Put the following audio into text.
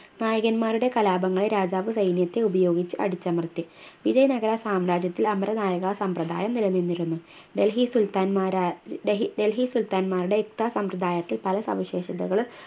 നായകൻന്മാരുടെ കലാപങ്ങൾ രാജാവ് സൈന്യത്തെ ഉപയോഗിച്ച് അടിച്ചമർത്തി വിജയ നഗര സാമ്രാജ്യത്തിൽ അമര നായക സമ്രദായം നിലനിന്നിരുന്നു ഡൽഹി സുൽത്താന്മാരാ ഡൽഹി സുൽത്താന്മാരുടെ ഇത്ത സമ്രദായത്തിൽ പല സവിശേഷതകളും